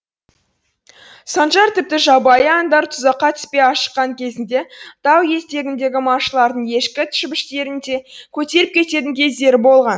санжар тіпті жабайы аңдар тұзаққа түспей ашыққан кезінде тау етегіндегі малшылардың ешкі шібіштерін де көтеріп кететін кездері болған